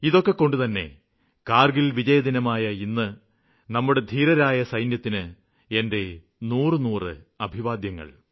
ഇതൊക്കെകൊണ്ടുതന്നെ കാര്ഗില് വിജയദിനമായ ഇന്ന് നമ്മുടെ ധീരരായ സൈനികര്ക്ക് എന്റെ നൂറുനൂറു അഭിവാദ്യങ്ങള്